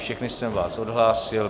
Všechny jsem vás odhlásil.